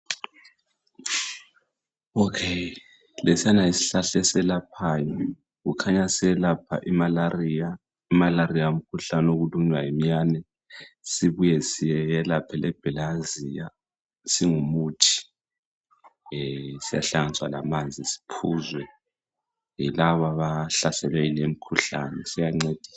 Lesiyana yisihlahla eselaphayo kukhanya selapha i malaria, imalaria ngumkhuhlane wokulunywa yi minyane sibuye selaphe le bhelehaziya singuthi siyahlanganiswa lamanzi siphuzwe laba abahlaselwe ngumkhuhlane siyancedisa.